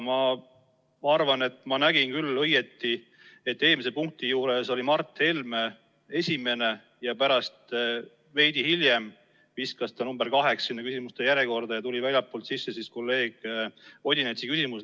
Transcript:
Ma arvan, et ma nägin õigesti, kuidas Mart Helme esimene ja pärast, veidi hiljem viskas ta küsimuste järjekorras teisele kohale, kui väljastpoolt tuli sisse kolleeg Odinetsi küsimus.